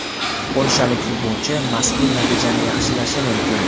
Polshalik futbolchi mazkur natijani yaxshilashi mumkin.